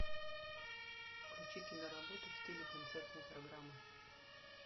включи киноработу в стиле концертной программы